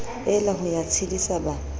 ela ho ya tshedisa ba